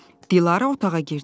Dilarə otağa girdi.